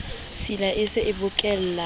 tshila e se e bokellane